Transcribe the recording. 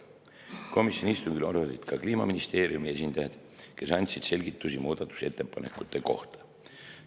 Komisjoni istungil osalesid ka Kliimaministeeriumi esindajad, kes andsid selgitusi muudatusettepanekute kohta.